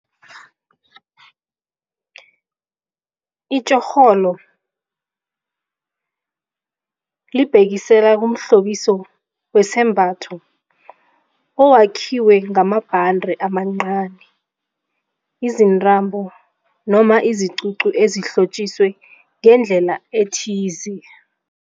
Itjhorholo libhekisela kumhlobiso wesambatho owakhiwe ngamabhande amancani, izintambo noma iziququ ezihlotjiswe ngendlela ethize.